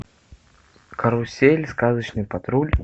карусель сказочный патруль